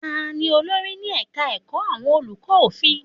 Ta ni olórí ní ẹ̀ka ẹ̀kọ́ àwọn olùkọ́ òfin?